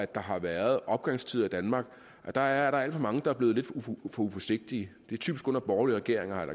der har været opgangstider i danmark at der er alt for mange der er blevet lidt for uforsigtige det er typisk under borgerlige regeringer har